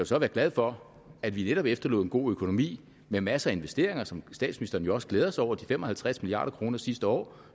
så være glad for at vi netop efterlod en god økonomi med masser af investeringer som statsministeren jo også glæder sig over de fem og halvtreds milliard kroner sidste år